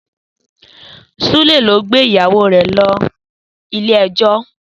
Súlè ló gbé ìyàwó rẹ̀ lọ Ilé-ẹjọ́.